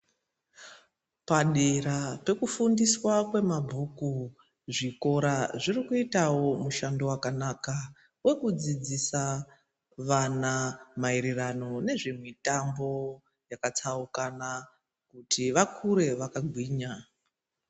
Padera pekufundiswa kwema bhuku zvikora zviri kuitawo mushando wakanaka wekudzidzisa vana maererano nezvemitambo yaka tsaukana kuti vakure vaka gwinya